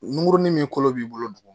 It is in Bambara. Nunkurunin min kolo b'i bolo duguma